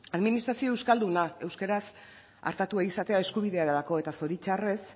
administrazio euskalduna euskaraz artatua izatea eskubiderako eta zoritxarrez